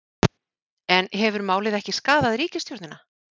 En hefur málið ekki skaðað ríkisstjórnina?